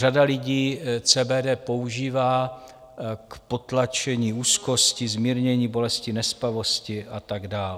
Řada lidí CBD používá k potlačení úzkosti, zmírnění bolesti, nespavosti a tak dál.